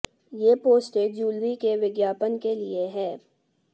ये पोस्ट एक जूलरी के विज्ञापन के लिए है